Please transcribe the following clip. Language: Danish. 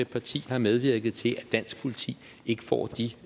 parti har medvirket til at dansk politi ikke får de